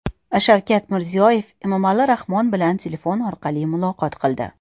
Shavkat Mirziyoyev Emomali Rahmon bilan telefon orqali muloqot qildi.